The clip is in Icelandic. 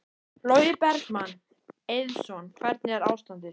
Logi Bergmann Eiðsson: Hvernig er ástandið?